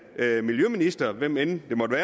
miljøminister hvem det end måtte